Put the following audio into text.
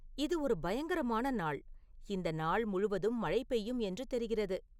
இது ஒரு பயங்கரமான நாள் இந்த நாள் முழுவதும் மழை பெய்யும் என்று தெரிகிறது